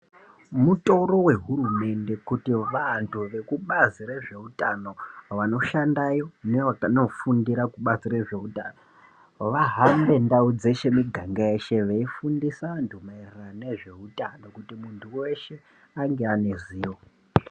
Mutoro wehurumende kuti vanhu vekubazi rezveutano vanoshandayo nevakanofundire kubazi rezveutano vahambe ndau dzeshe miganga yeshe veifundisa vantu maererano nezveutano kuti munhu weshe ange ane ziyo.